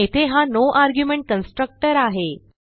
येथे हा no argument constructor आहे